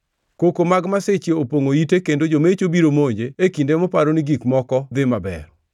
Koko mag masiche opongʼo ite kendo jomecho biro monje e kinde moparo ni gik moko dhi maber.